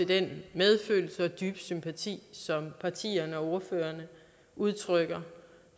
den medfølelse og dybe sympati som partierne og ordførerne udtrykker